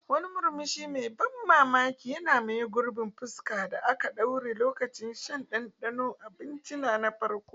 Wani murmushi mai ban mamaki ya maye gurbin fuskar da aka daure lokacin shan ɗanɗanon abinci na farko.